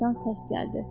Bayırdan səs gəldi.